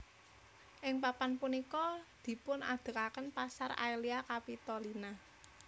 Ing papan punika dipunadegaken pasar Aelia Capitolina